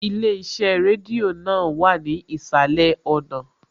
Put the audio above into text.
Ilé iṣẹ́ rédíò náà wà ní ìsàlẹ̀ ọ̀nà